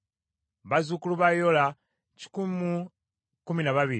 bazzukulu ba Yola kikumi mu kumi na babiri (112),